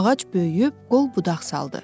Ağac böyüyüb qol budaq saldı.